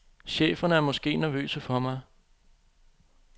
Cheferne er måske nervøse for mig.